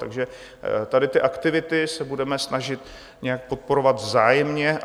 Takže tady ty aktivity se budeme snažit nějak podporovat vzájemně.